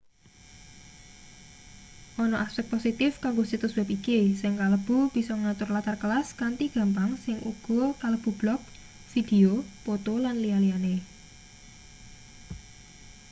ana aspek positif kanggo situs web iki sing kalebu bisa ngatur latar kelas kanthi gampang sing uga kalebu blog video poto lan liya-liyane